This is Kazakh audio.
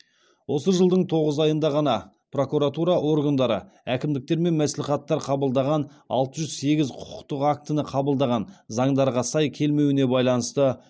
осы жылдың тоғыз айында ғана прокуратура органдары әкімдіктер мен мәслихаттар қабылдаған алты жүз сегіз құқықтық актіні қабылданған заңдарға сай келмеуіне байланысты